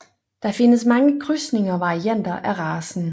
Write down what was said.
Der findes mange krydsninger og varianter af racen